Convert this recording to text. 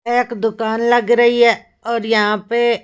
एक दुकान लग रही है और यहां पे--